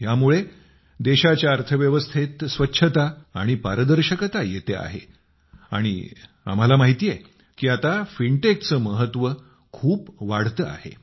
ह्यामुळे देशाच्या अर्थव्यवस्थेत स्वच्छता आणि पारदर्शिता येते आहे आणि आम्हाला माहिती आहे की आता फिनटेक चे महत्व खूप वाढते आहे